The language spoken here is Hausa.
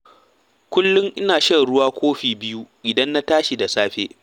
Kullum ina shan ruwa kofi biyu idan na tashi da safe.